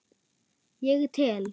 Ég tel.